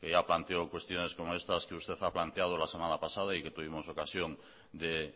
que ya planteó cuestiones como estas que usted ha planteado la semana pasada y que tuvimos ocasión de